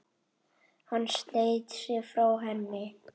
Hann sleit sig frá henni.